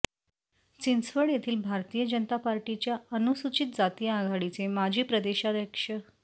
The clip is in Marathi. चिंचवड येथील भारतीय जनता पार्टीच्या अनुसूचित जाती आघाडीचे माजी प्रदेशाध्यक्ष